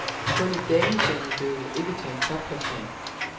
Kun i damesingle blev det ikke til en topplacering.